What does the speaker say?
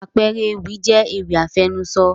àpẹẹrẹ ewì jẹ́ ewì àfẹnusọ